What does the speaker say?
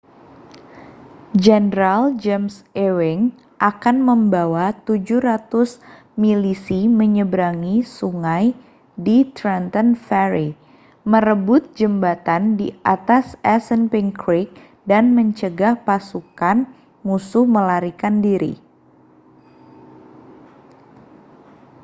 jenderal james ewing akan membawa 700 milisi menyeberangi sungai di trenton ferry merebut jembatan di atas assunpink creek dan mencegah pasukan musuh melarikan diri